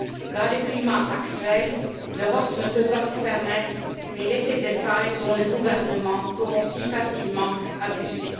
Dans le climat actuel, l'Europe ne peut pas se permettre de laisser des failles dont les gouvernements pourront si facilement abuser.